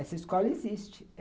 Essa escola existe.